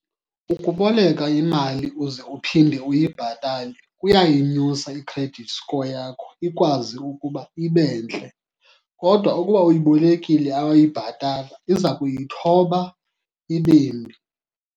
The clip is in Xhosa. Ukuboleka imali uze uphinde uyibhatale kuyayinyusa i-credit score yakho ikwazi ukuba ibe ntle. Kodwa ukuba uyibolekile awayibhatala iza kuyithoba ibe mbi.